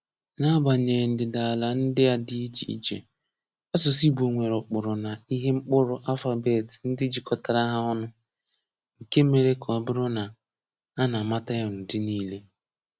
N'agbanyeghị ndịdaala ndị a dị iche iche, asụsụ Igbo nwere ụkpụrụ na ihe mkpụrụ (alphabet) ndị jikọtara ha ọnụ, nke mere ka ọ bụrụ na a na-amata ya n'udi niile.